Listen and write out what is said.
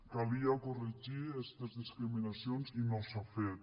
calia corregir estes discriminacions i no s’ha fet